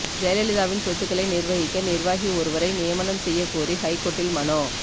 ஜெயலலிதாவின் சொத்துகளை நிர்வகிக்க நிர்வாகி ஒருவரை நியமனம் செய்ய கோரி ஹைகோர்ட்டில் மனு